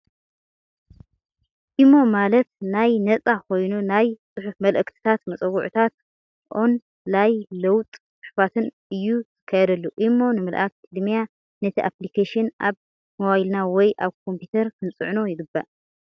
imo ማለት ናይ ነፃ ኾይኑ ናይ ፅሑፍ መልእክታት፣ መፀዋዕታታት ኦን ላይ ልውውጥ ፅሑፋትን እዩ ዝካየደሉ። imo ንምልእኣክ ቅድሚያ ነቲ ኣፕልኬሽን ኣብ ሞባይልና ወይ ኣብ ኮምፒተርና ክንፅዕኖ ይግባእ።